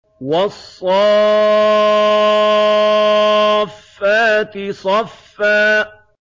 وَالصَّافَّاتِ صَفًّا